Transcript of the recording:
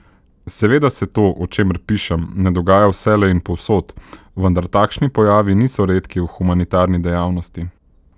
Seveda se to, o čemer pišem, ne dogaja vselej in povsod, vendar takšni pojavi niso redki v humanitarni dejavnosti.